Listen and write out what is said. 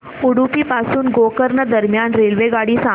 उडुपी पासून गोकर्ण दरम्यान रेल्वेगाडी सांगा